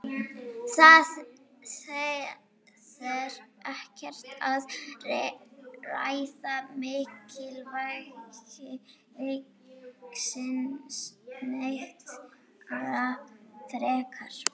Það þarf ekkert að ræða mikilvægi leiksins neitt frekar.